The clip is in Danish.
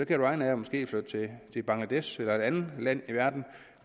kan ryanair måske flytte fra til bangladesh eller et andet land i verden